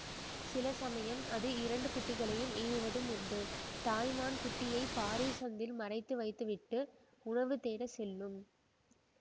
சில சமயம் அது இரண்டு குட்டிகளை ஈனுவதும் உண்டு தாய் மான் குட்டியைப் பாறை சந்தில் மறைத்து வைத்துவிட்டு உணவு தேட செல்லும்